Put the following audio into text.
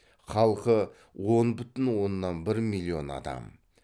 халқы он бүтін оннан бір миллион адам